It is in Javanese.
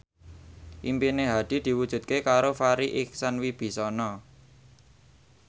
impine Hadi diwujudke karo Farri Icksan Wibisana